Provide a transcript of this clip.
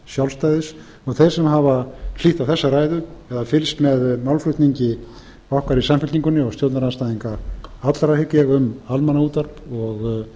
sjálfstæðis og þeir sem hafa hlýtt á þessa ræðu hafa fylgst með málflutningi okkar í samfylkingunni og stjórnarandstæðinga allra hygg ég um almannaútvarp og